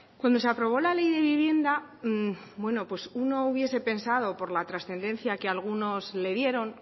cuando se aprobó la ley de vivienda bueno pues uno hubiese pensado por la trascendencia que algunos le dieron